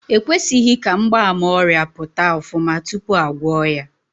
E kwesịghị ka mgbaàmà ọrịa pụta ofuma tupu a gwọọ ya.